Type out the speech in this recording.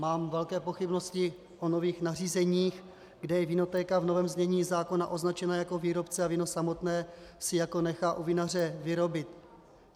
Mám velké pochybnosti o nových nařízeních, kde je vinotéka v novém znění zákona označena jako výrobce a víno samotné si jako nechá u vinaře vyrobit.